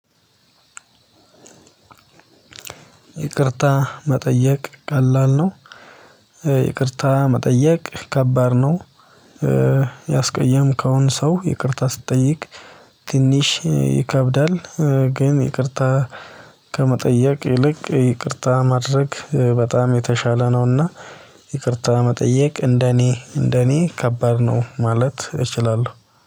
ይቅርታ መጠየቅ ቀላል ነው? ይቅርታ መጠየቅ ከባድ ነው። ያስቀየምከውን ሰው ይቅርታ ስትጠይቅ ትንሽ ይከብዳል ግን ይቅርታ ከመጠየቅ ይልቅ ይቅርታ ማድረግ በጣም የተሻለ ነውና ይቅርታ መጠየቅ እንደኔ እንደኔ ከባድ ነው ማለት እችላለሁ